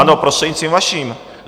Ano, prostřednictvím vaším.